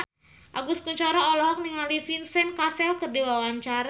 Agus Kuncoro olohok ningali Vincent Cassel keur diwawancara